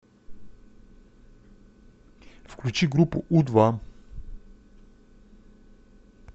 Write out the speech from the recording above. включи группу у два